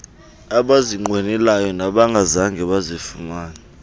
abazinqwenelayo nabangazange bazifumane